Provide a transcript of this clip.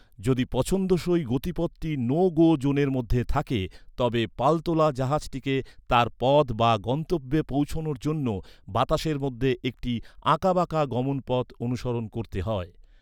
যদি পছন্দসই গতিপথটি নো গো জোনের মধ্যে থাকে, তবে পালতোলা জাহাজটিকে তার পথ বা গন্তব্যে পৌঁছানোর জন্য বাতাসের মধ্যে একটি আঁকাবাঁকা গমনপথ অনুসরণ করতে হয়।